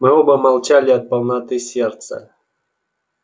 мы оба молчали от полноты сердца